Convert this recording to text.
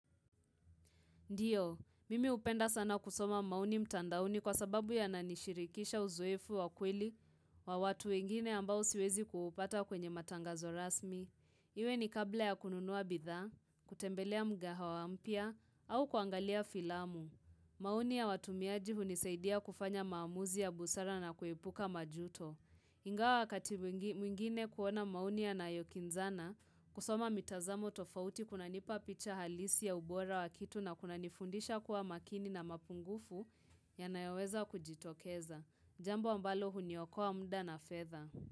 Ndiyo, mimi hupenda sana kusoma maoni mtandaoni kwa sababu yananishirikisha uzoefu wa kweli wa watu wengine ambao siwezi kupata kwenye matangazo rasmi. Iwe ni kabla ya kununuwa bidhaa, kutembelea mgahawa mpya, au kuangalia filamu. Maoni ya watumiaji hunisaidia kufanya maamuzi ya busara na kuepuka majuto. Ingawa wakati mwingine kuona maoni yanayokinzana, kusoma mitazamo tofauti kunanipa picha halisi ya ubora wa kitu na kunanifundisha kuwa makini na mapungufu yanayoweza kujitokeza. Jambo ambalo huniokoa muda na fedha.